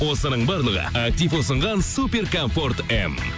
осының барлығы актив ұсынған супер комфорт м